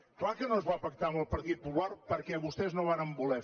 clar que no es va pactar amb el partit popular perquè vostès no varen voler